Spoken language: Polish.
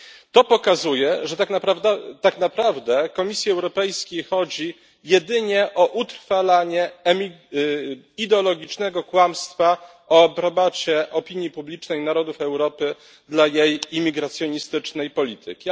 To pokazuje, że tak naprawdę Komisji Europejskiej chodzi jedynie o utrwalanie ideologicznego kłamstwa o aprobacie opinii publicznej narodów Europy dla jaj imigracjonistycznej polityki.